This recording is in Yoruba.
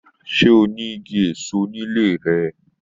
Se o ni Igi èso ní ilé rẹ?